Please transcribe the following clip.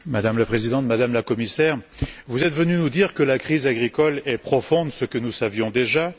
Madame la Présidente, Madame la Commissaire, vous êtes venue nous dire que la crise agricole est profonde, ce que nous savions déjà.